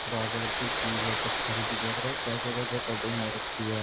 प्राकर्तिक चीज़ है पत्थर की। देख रहे हो कैसे-कैसे कटिंग हो रखी है।